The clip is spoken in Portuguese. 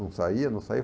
Não saía, não saía.